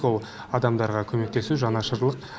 ол адамдарға көмектесу жанашырлық